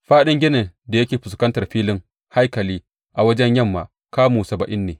Faɗin ginin da yake fuskantar filin haikali a wajen yamma kamu saba’in ne.